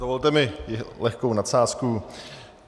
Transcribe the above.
Dovolte mi lehkou nadsázku.